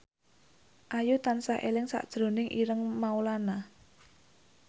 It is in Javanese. Ayu tansah eling sakjroning Ireng Maulana